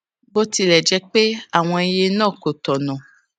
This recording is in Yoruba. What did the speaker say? bó tilè jé pé àwọn iye náà kò tònà